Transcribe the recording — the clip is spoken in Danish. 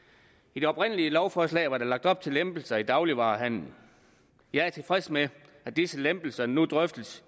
i det oprindelige lovforslag var der lagt op til lempelser i dagligvarehandelen jeg er tilfreds med at disse lempelser nu drøftes